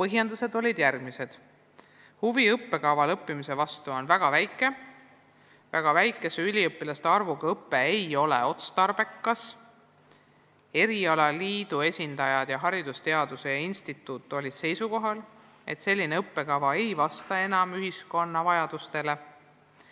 Põhjendused olid järgmised: huvi õppekaval õppimise vastu on väga väike ja nii ei ole selle jätkamine otstarbekas; erialaliidu esindajad ja haridusteaduste instituut olid seisukohal, et selline õppekava ei vasta enam ühiskonna vajadustele ja